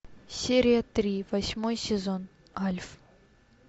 серия три восьмой сезон альф